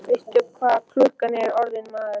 Veistu ekki hvað klukkan er orðin, maður?